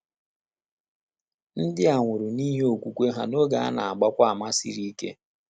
Ndị a nwụrụ n’ihi okwukwe ha n’oge a na - agbakwa àmà siri ike.